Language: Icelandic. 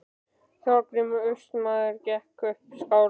Þorgrímur Austmaður gekk upp á skálann.